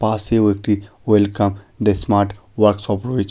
পাশেও একটি welcome the smart workshop রয়েছে।